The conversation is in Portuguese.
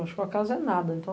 Acho que o acaso é nada, então...